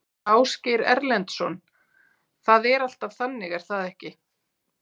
Ásgeir Erlendsson: Það er alltaf þannig er það ekki?